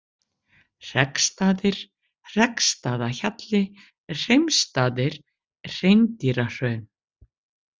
Hreggsstaðir, Hreggstaðahjalli, Hreimstaðir, Hreindýrahraun